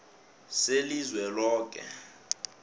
selizweloke